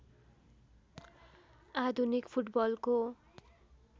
आधुनिक फुटबलको